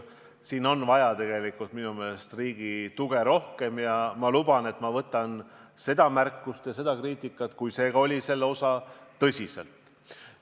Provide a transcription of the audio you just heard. Siin on minu meelest tegelikult vaja rohkem riigi tuge ning ma luban, et võtan seda märkust ja seda kriitikat tõsiselt.